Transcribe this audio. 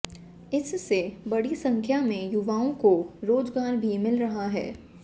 इससे बड़ी संख्या में युवाओं को रोजगार भी मिल रहा है